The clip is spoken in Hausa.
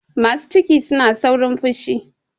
Masu ciki suna saurin fushi.